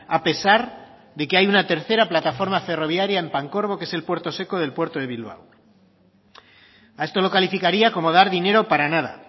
a pesar de que hay una tercera plataforma ferroviaria en pancorbo que es el puerto seco del puerto de bilbao a esto lo calificaría como dar dinero para nada